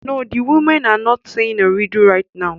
No, the women are not saying a riddle right now